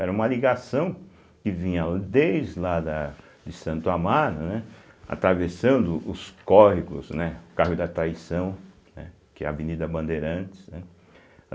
Era uma ligação que vinha desde lá da de Santo Amaro, né, atravessando os córregos, né, o Córrego da Traição, né, que é a Avenida Bandeirantes, né.